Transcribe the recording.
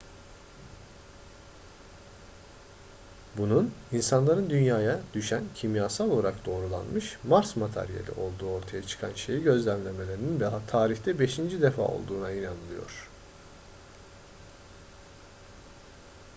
bunun insanların dünya'ya düşen kimyasal olarak doğrulanmış mars materyali olduğu ortaya çıkan şeyi gözlemlemelerinin tarihte beşinci defa olduğuna inanılıyor